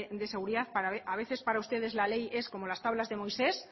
de seguridad a veces para ustedes la ley es como las tablas de moisés